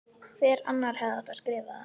Hver annar hefði átt að skrifa það?